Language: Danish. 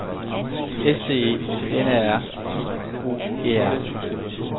S C E N A R I O E R